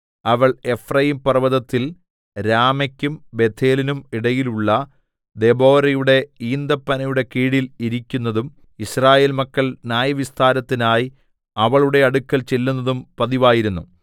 അവൾ എഫ്രയീംപർവ്വതത്തിൽ രാമെക്കും ബേഥേലിന്നും ഇടയിലുള്ള ദെബോരയുടെ ഈന്തപ്പനയുടെ കീഴിൽ ഇരിക്കുന്നതും യിസ്രായേൽ മക്കൾ ന്യായവിസ്താരത്തിനായി അവളുടെ അടുക്കൽ ചെല്ലുന്നതും പതിവായിരുന്നു